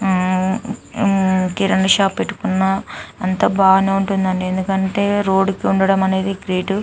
ఉమ్మ్ ఉమ్మ్ కీరాని షాప్ పెట్టుకున్న అంత బానే ఉంటుందండి ఎందుకంటే రోడ్ కి ఉండటం అనేది గ్రేట్ .